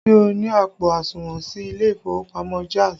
Ṣé o ní àpò àsùnwọ̀n sí ilé ìfowópamọ́ Jaiz?